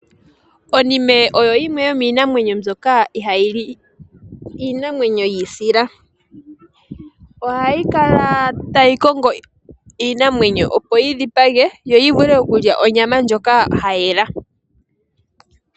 Onime oyo yimwe yo miinamwenyo mbyoka ihaayi li iinamwenyo yi isila. Ohayi kala tayi kongo iinamwenyo opo yi dhipage yo yi vule okulya onyama ndjoka ya yela.